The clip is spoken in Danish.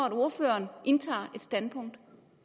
at ordføreren indtager et standpunkt